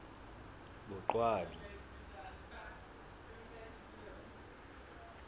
boqwabi